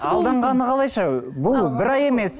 алданғаны қалайша бұл бір ай емес